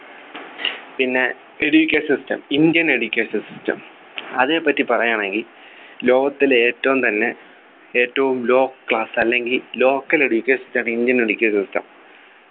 പിന്നെ Education system indian Educational system അതിനെപ്പറ്റി പറയാണെങ്കി ലോകത്തിലെ ഏറ്റവും തന്നെ ഏറ്റവും low class അല്ലെങ്കിൽ local Education system ആണ് indian Education system